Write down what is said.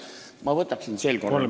Ma võtaksin sel korral küll ...